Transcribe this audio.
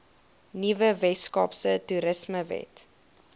nuwe weskaapse toerismewet